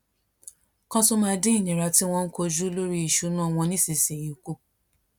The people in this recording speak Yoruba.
kan tó máa dín ìnira tí wón ń kojú lori isuna won nísinsìnyí kù